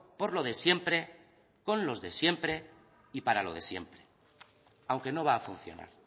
por lo de siempre con los de siempre y para lo de siempre aunque no va a funcionar